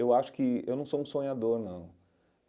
Eu acho que eu não sou um sonhador, não.